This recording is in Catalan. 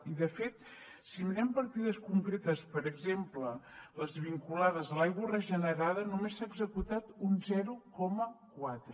i de fet si mirem partides concretes per exemple les vinculades a l’aigua regenerada només se n’ha executat un zero coma quatre